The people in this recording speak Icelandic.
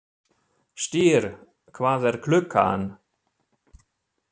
Styrr, hvað er klukkan?